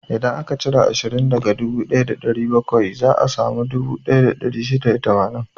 Idan aka cire ashirin daga dubu ɗaya da ɗari bakwai, za a samu dubu ɗaya da ɗari shida da tamanin.